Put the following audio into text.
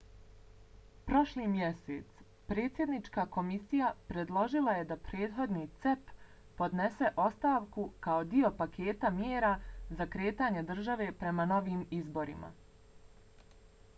prošli mjesec predsjednička komisija predložila je da prethodni cep podnese ostavku kao dio paketa mjera za kretanje države prema novim izborima